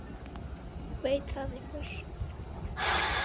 Veit það einhver?